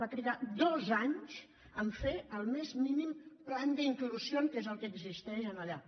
va trigar dos anys a fer el més mínim plan de inclusión que és el que existeix allà